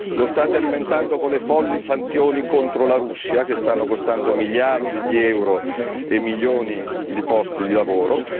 Lo state alimentando con le folli sanzioni contro la Russia, che stanno costando miliardi di euro e milioni di posti di lavoro